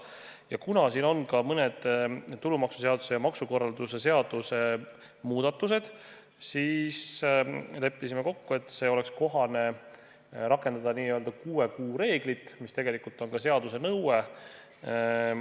Ja kuna siin on ka mõned tulumaksuseaduse ja maksukorralduse seaduse muudatused, siis leppisime kokku, et oleks kohane rakendada n-ö kuue kuu reeglit, mis tegelikult on ka seaduse nõue.